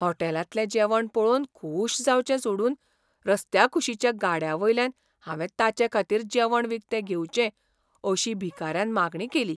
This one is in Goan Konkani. होटॅलांतलें जेवण पळोवन खूश जावचें सोडून रस्त्याकुशीच्या गाड्यावल्यान हांवें ताचेखातीर जेवण विकतें घेवचें अशी भिकाऱ्यान मागणी केली.